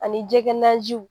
Ani jɛgɛ na